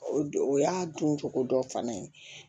O don o y'a don cogo dɔ fana ye